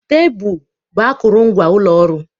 Tebụl bụ akụrụngwa ụlọ ọrụ